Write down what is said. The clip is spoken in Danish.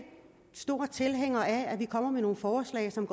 stor tilhænger af at vi kommer med nogle forslag som